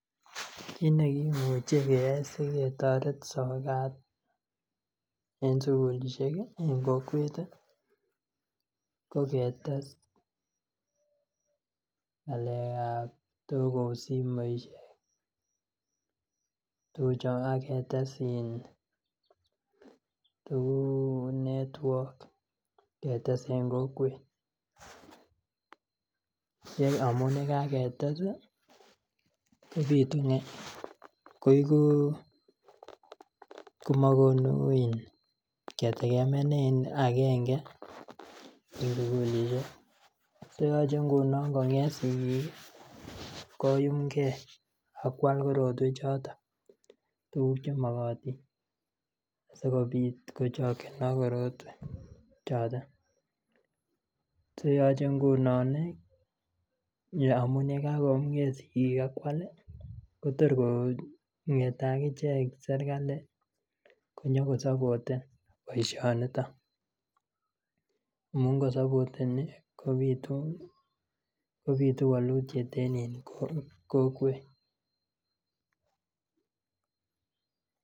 Kit nekimuche keyai siketoret sokat en sukulisiek en kokwet ko ketes ngalekab tos kou simoisiek ak ketes tuguk kou network ketes en kokwet amun ye kagetes ii komogonu ketegemeanen agenge en sukulisiek so yoche ngunon konget sigik koyumge ak kwal korotwechoto tuguk Che makotin asikobit kochokyinok korotwek choton yoche nguno amun ye kagonget sigik ak kwal kotor kongete agichek serkali konyokosapoten boisioniton amun kosopoteni kobitu walutiet en kokwet